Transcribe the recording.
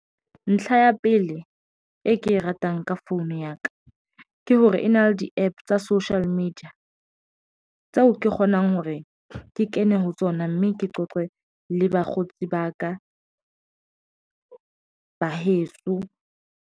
Ntlha ya pele, e ke e ratang ka founu ya ka ke hore e na le di-APP tsa social media tseo ke kgonang hore ke kene ho tsona mme ke qoqe le bakgotsi ba ka ba heso.